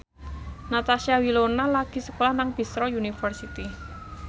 Natasha Wilona lagi sekolah nang Bristol university